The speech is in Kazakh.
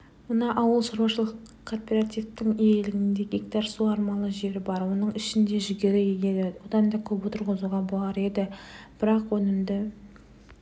мына ауыл шаруашылық кооперативінің иелігінде гектар суармалы жері бар оның ішінде жүгері егеді одан да көп отырғызуға болар еді бірақ өнімді